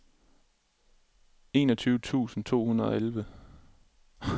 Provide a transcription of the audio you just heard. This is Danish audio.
treogtyve tusind to hundrede og elleve